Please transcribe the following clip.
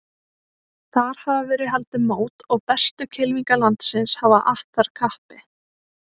Þar hafa verið haldin mót og bestu kylfingar landsins hafa att þar kappi.